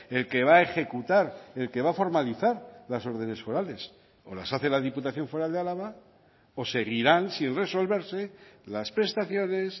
el que va a ejecutar el que va a formalizar las órdenes forales o las hace la diputación foral de álava o seguirán sin resolverse las prestaciones